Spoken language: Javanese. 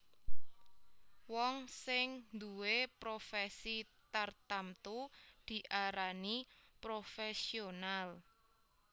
Wong sing nduwé profèsi tartamtu diarani profèsional